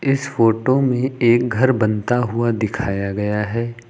इस फोटो में एक घर बनता हुआ दिखाया गया है।